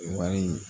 O wari in